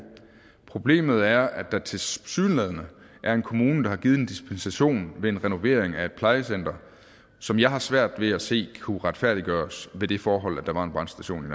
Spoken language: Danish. problemet er at der tilsyneladende er en kommune der har givet en dispensation ved en renovering af et plejecenter som jeg har svært ved at se kunne retfærdiggøres ved det forhold at der var en brandstation